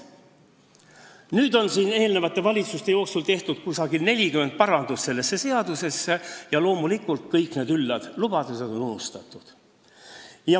Nüüd on eri valitsuste jooksul tehtud sellesse seadusesse umbes 40 parandust ja loomulikult kõik need üllad lubadused on unustatud.